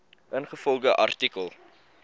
ingevolge artikel